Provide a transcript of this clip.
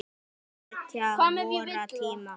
Hetju vorra tíma.